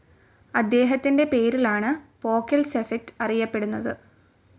അദ്ധേഹത്തിൻ്റെ പേരിലാണ് Pockels effect അറിയപ്പെടുന്നത്.